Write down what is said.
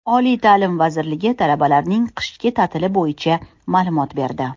Oliy ta’lim vazirligi talabalarning qishki ta’tili bo‘yicha ma’lumot berdi.